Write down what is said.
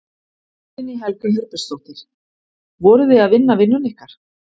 Guðný Helga Herbertsdóttir: Voruð þið að vinna vinnuna ykkar?